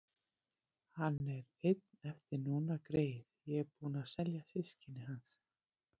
Hann er einn eftir núna, greyið, ég er búin að selja systkini hans.